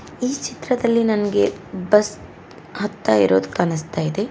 ಈ ಚಿತ್ರದಲ್ಲಿ ನನಗೆ ಬಸ್ ಹತ್ತ ಇರೋದು ಕಾಣಿಸ್ತಾ ಇದೆ.